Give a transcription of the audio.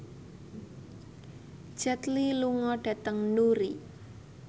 Jet Li lunga dhateng Newry